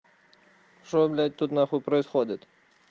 что блядь тут нахуй происходит